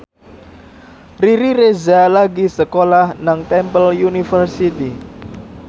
Riri Reza lagi sekolah nang Temple University